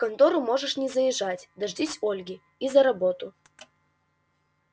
в контору можешь не заезжать дождись ольги и за работу